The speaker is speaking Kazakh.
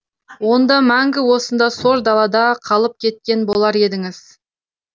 онда мәңгі осында сор далада қалып кеткен болар едіңіз